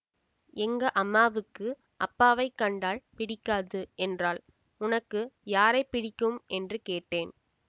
எங்க அம்மாவுக்கு அப்பாவைக் கண்டால் பிடிக்காது என்றாள் உனக்கு யாரை பிடிக்கும் என்று கேட்டேன்